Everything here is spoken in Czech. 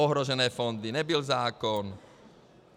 Ohrožené fondy, nebyl zákon.